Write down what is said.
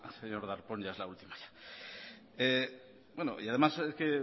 señor darpón ya es la última y además es que